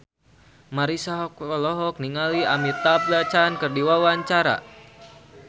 Marisa Haque olohok ningali Amitabh Bachchan keur diwawancara